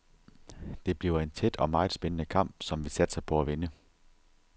Det bliver en tæt og meget spændende kamp, som vi satser på at vinde.